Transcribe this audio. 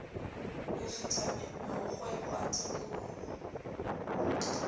ho sutha mokgweng wa thekolohelo